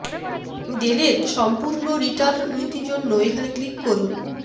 del এর সম্পূর্ণ return নীতি জন্য এখানে ক্লিক করুন